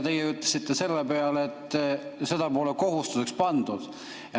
Teie ütlesite selle peale, et seda pole kohustuseks tehtud.